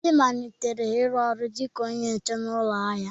Obi malitere ịrụ ọrụ dị ka onye nche na ụlọ ahịa.